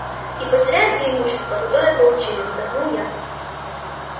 и потеряем преимущество которое получили вздохнул я